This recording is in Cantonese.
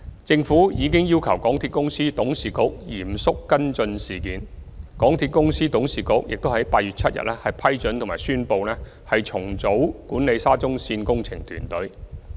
政府已要求港鐵公司董事局嚴肅跟進事件，港鐵公司董事局已於8月7日批准及宣布重組管理沙中線工程團隊。